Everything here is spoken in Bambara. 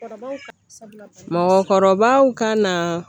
Mɔgɔkɔrɔbaw ka na